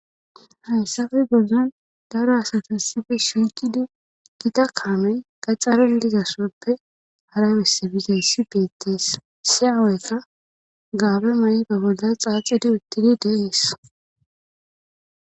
hayssafe gozzon daro asatas sife shinkidi gita kaamey gaxxaralizasoppe harabesse bigays si beettis si aaweka gaabe may7i ba bolla xaaxidi uttidi deiis